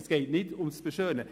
Es geht nicht ums Beschönigen.